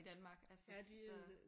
I Danmark altså så